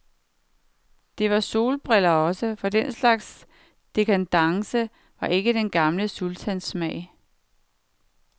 Det var solbriller også, for den slags dekadence var ikke den gamle sultans smag.